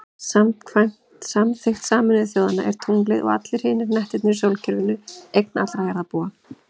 Samkvæmt samþykkt Sameinuðu þjóðanna er tunglið, og allir hinir hnettirnir í sólkerfinu, eign allra jarðarbúa.